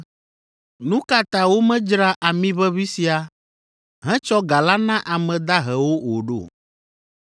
“Nu ka ta womedzra amiʋeʋĩ sia hetsɔ ga la na ame dahewo o ɖo?”